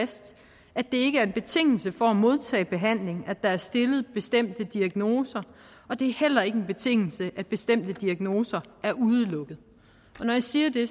det er ikke er en betingelse for at modtage behandling at der er stillet bestemte diagnoser og det heller ikke en betingelse at bestemte diagnoser er udelukket og når jeg siger det